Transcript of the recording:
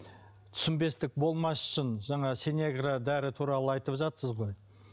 түсінбестік болмас үшін жаңағы синегра дәрі туралы айтывжатсыз ғой